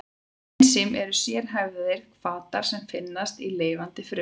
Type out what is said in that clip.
Ensím eru sérhæfðir hvatar sem finnast í lifandi frumum.